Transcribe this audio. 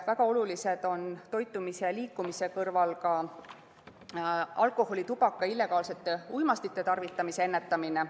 Väga oluline on ennetada alkoholi, tubaka ja illegaalsete uimastite tarvitamist.